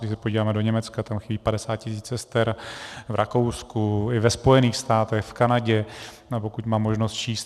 Když se podíváme do Německa, tam chybí 50 tisíc sester, v Rakousku i ve Spojených státech, v Kanadě, pokud mám možnost číst.